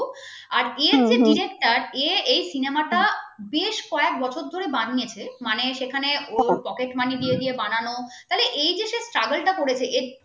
আর এর য়ে director এই যে cinema টা বেশ কয়েক বছর ধরে বানিয়েছে মানে সেখানে ওর pocket পানি দিয়ে বানানো ফলে এই যে travel টা করেছে। এর